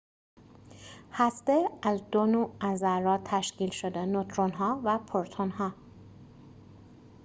هسته از دو نوع از ذرات تشکیل شده نوترون‌ها و پروتون‌ها